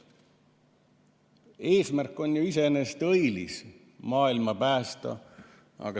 Eesmärk on ju iseenesest õilis: maailma päästa.